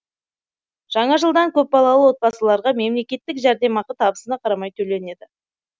жаңа жылдан көпбалалы отбасыларға мемлекеттік жәрдемақы табысына қарамай төленеді